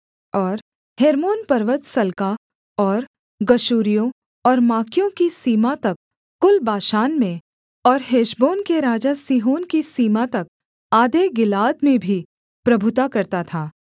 और हेर्मोन पर्वत सल्का और गशूरियों और माकियों की सीमा तक कुल बाशान में और हेशबोन के राजा सीहोन की सीमा तक आधे गिलाद में भी प्रभुता करता था